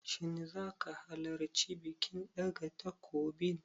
Shin zaka halarci bikin ɗaga takobin?